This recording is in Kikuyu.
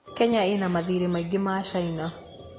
Kenya ĩna mathirĩ maingĩ ma China.